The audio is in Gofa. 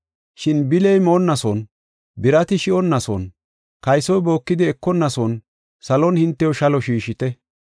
Shin bili moonnason, birati shi7onnason, kaysoy bookidi ekonnason salon hintew shalo shiishite.